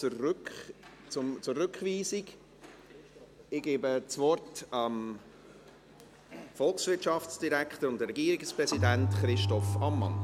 Ich gebe das Wort dem Volkswirtschaftsdirektor und Regierungspräsidenten, Christoph Ammann.